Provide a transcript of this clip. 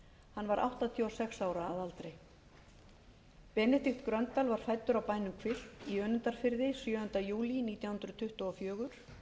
hann var áttatíu og sex ára að aldri benedikt gröndal var fæddur á bænum hvilft í önundarfirði sjöunda júlí nítján hundruð tuttugu og fjögur